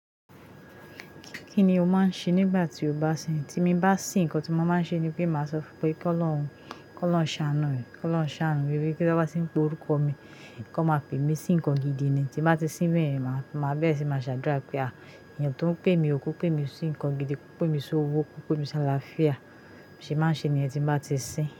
Kí ni o máa ń ṣe nígbà tí o bá sìn? Tí mi bá sìn, nǹkan tí mo máa ń ṣe ni pé màá sọ fún pé k'Olọ́rùn ṣàánù mi, k'Olọ́rùn ṣàánù e wé. Pe tí won bá ti ń pe orúkọ mi, kó máa pè mí sí nǹkan gidi ni. Tí n bá ti sín bẹ́ẹ̀ yen, màá bẹ́ẹ̀ re sì ni máa ṣàdúrà pé à, èèyàn tó ń pè mi o, ko pè mí sí nǹkan gidi, kó pè mí sí owó, kó pè mí sí àlàáfíà. Bi mo sẹ máa ń ṣe ni yẹn tí n bá ti sìn.